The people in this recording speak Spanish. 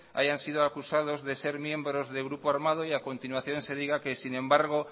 hayan sido acusados de ser miembro de grupo armado y a continuación se diga que sin embargo